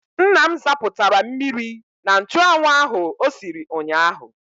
Nne m zapụtara mmiri na nchụanwụ ahụ o siri ụnyaahụ.